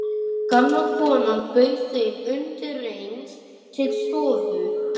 Gamla konan bauð þeim undireins til stofu.